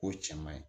O cɛ man ɲi